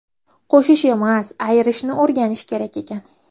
Qo‘shish emas, ayirishni o‘rganish kerak ekan.